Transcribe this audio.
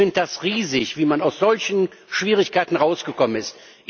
Ich finde es riesig, wie man aus solchen Schwierigkeiten rausgekommen ist.